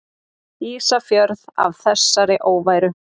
Ísafjörð af þessari óværu!